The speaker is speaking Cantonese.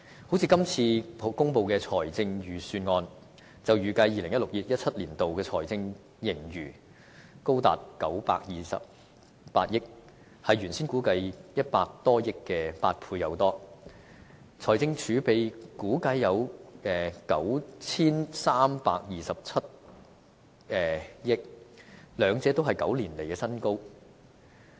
就像今次公布的預算案，就預計 2016-2017 年度的財政盈餘高達928億元，是原先估計100多億元的8倍多，財政儲備估計有 9,327 億元，兩者都是9年來的新高。